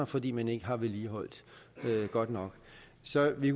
fordi man ikke har vedligeholdt det godt nok så vi